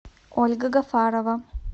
ольга гафарова